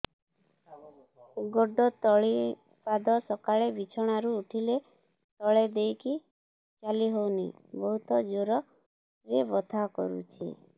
ଗୋଡ ତଳି ପାଦ ସକାଳେ ବିଛଣା ରୁ ଉଠିଲେ ତଳେ ଦେଇକି ଚାଲିହଉନି ବହୁତ ଜୋର ରେ ବଥା କରୁଛି